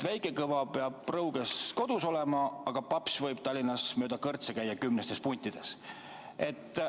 Väike Kõva peab Rõuges kodus olema, aga paps võib Tallinnas mööda kõrtse käia kümnestes puntides.